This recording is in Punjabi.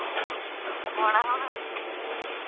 ਪਵਾਲਾ ਹੁਣ